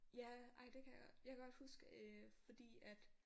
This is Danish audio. Ja ej det kan jeg jeg kan godt huske fordi at